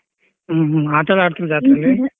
ಹ್ಮ್ ಹ್ಮ್ ಆಟಾ ಎಲ್ಲ ಆಡ್ತಿರ ಜಾತ್ರೇಲಿ.